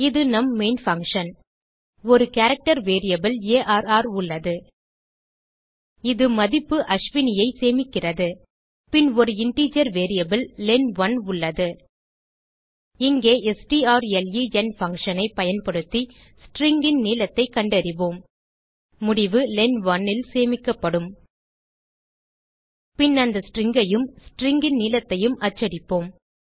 இது நம் main function ஒரு கேரக்டர் வேரியபிள் ஆர் உள்ளது இது மதிப்பு Ashwiniஐ சேமிக்கிறது பின் ஒரு இன்டிஜர் வேரியபிள் லென்1 உள்ளது இங்கே ஸ்ட்ராலன் funtionஐ பயன்படுத்தி ஸ்ட்ரிங் ன் நீளத்தைக் கண்டறிவோம் முடிவு len1ல் சேமிக்கப்படும் பின் அந்த stringஐயும் stringன் நீளத்தையும் அச்சடிப்போம்